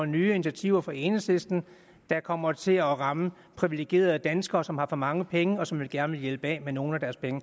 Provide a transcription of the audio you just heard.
nye initiativer fra enhedslisten der kommer til at ramme privilegerede danskere som har for mange penge og som vi gerne vil hjælpe af med nogle af deres penge